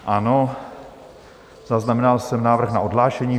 Ano, zaznamenal jsem návrh na odhlášení.